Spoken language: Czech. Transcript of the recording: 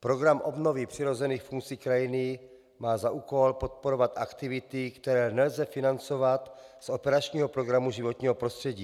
Program obnovy přirozených funkcí krajiny má za úkol podporovat aktivity, které nelze financovat z operačního programu Životní prostředí.